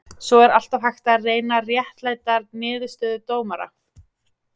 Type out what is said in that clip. Svo er alltaf hægt að reyna réttlæta niðurstöðu dóma.